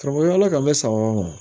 Karamɔgɔya ala ka mɛ sa o ma